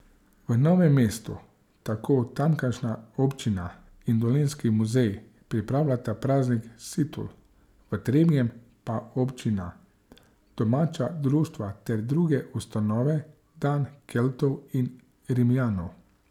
V Novem mestu tako tamkajšnja občina in Dolenjski muzej pripravljata Praznik situl, v Trebnjem pa občina, domača društva ter druge ustanove Dan Keltov in Rimljanov.